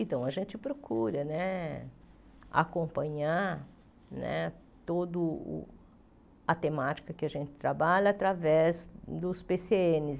Então, a gente procura né acompanhar né toda a temática que a gente trabalha através dos pê cê ênes.